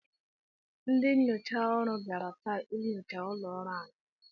Ndị nnyocha ọrụ bịara taa inyocha ụlọ ọrụ anyị.